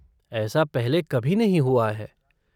ऐसा पहले कभी नहीं हुआ है।